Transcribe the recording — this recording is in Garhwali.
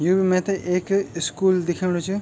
यु बि मैथे एक इस्कूल दिखेणु च।